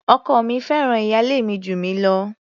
Ọkọ mi fẹ́ràn ìyálé mi jù mí lọ.